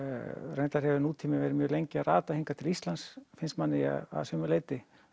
reyndar hefur nútíminn verið mjög lengi að rata hingað til Íslands finnst manni að sumu leyti